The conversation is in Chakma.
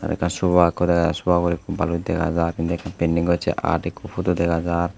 aro ekkan sofa ekko dega jai sofa bot ekko baloch dega jai indi ekko painting gocche art rkko photo dega jai.